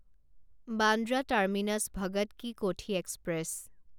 Bandra terminus Bhagat ki Kothi express